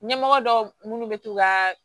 Ɲɛmɔgɔ dɔw minnu bɛ to ka